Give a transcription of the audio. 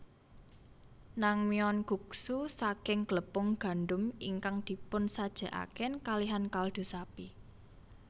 Nan myeon Guksu saking glepung gandum ingkang dipunsajèkaken kalihan kaldu sapi